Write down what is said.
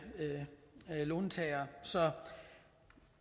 låntagere så